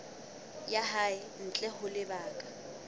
ya hae ntle ho lebaka